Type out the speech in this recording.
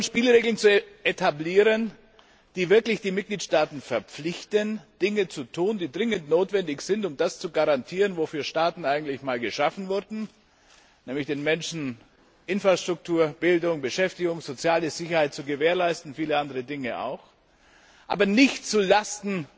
Wir wollen Spielregeln etablieren, die wirklich die Mitgliedstaaten verpflichten, Dinge zu tun, die dringend notwendig sind, um das zu garantieren, wofür Staaten eigentlich einmal geschaffen wurden, nämlich den Menschen Infrastruktur, Bildung, Beschäftigung, soziale Sicherheit und viele andere Dinge auch zu gewährleisten, aber nicht zu Lasten